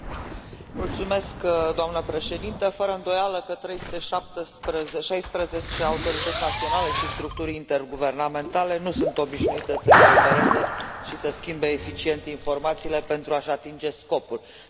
Doamnă președintă, fără îndoială că 316 autorități naționale și structuri interguvernamentale nu sunt obișnuite să coopereze și să schimbe eficient informațiile, pentru a și atinge scopul pentru care au fost create.